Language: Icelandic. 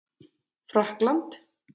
Frakkland